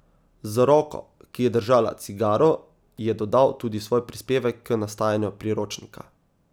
Z roko, ki je držala cigaro, je dodal tudi svoj prispevek k nastajanju Priročnika.